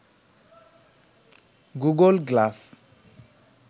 Google glass